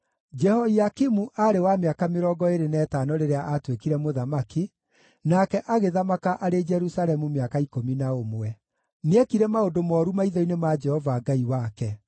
Jehoiakimu aarĩ wa mĩaka mĩrongo ĩĩrĩ na ĩtano rĩrĩa aatuĩkire mũthamaki, nake agĩthamaka arĩ Jerusalemu mĩaka ikũmi na ũmwe. Nĩekire maũndũ mooru maitho-inĩ ma Jehova Ngai wake.